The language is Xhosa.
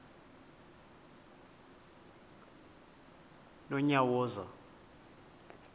nonyawoza